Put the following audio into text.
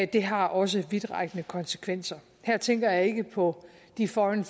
det har også vidtrækkende konsekvenser her tænker jeg ikke på de foreign